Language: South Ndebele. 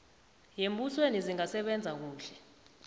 yembusweni zingasebenza kuhle